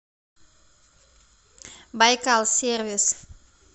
байкал сервис